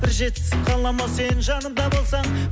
бір жетісіп қаламын ау сен жанымда болсаң